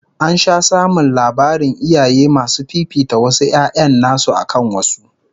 An sha samun labarin iyaye masu fifita wasu 'ya'yan nasu akan wasu